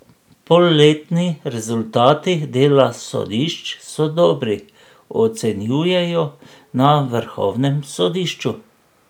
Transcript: Polletni rezultati dela sodišč so dobri, ocenjujejo na vrhovnem sodišču.